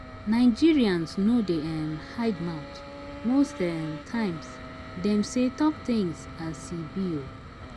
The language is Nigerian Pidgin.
Nigerians no dey um hide mouth most um times dem sey talk things as e be um